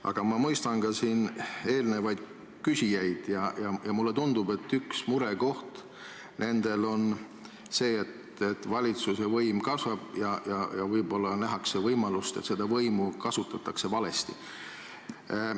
Aga ma mõistan ka eelmisi küsijaid ja mulle tundub, et üks murekoht on see, et valitsuse võim kasvab, ja võib-olla nähakse võimalust, et seda võimu kasutatakse valesti.